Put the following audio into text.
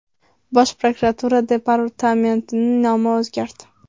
Bosh prokuratura departamentining nomi o‘zgardi.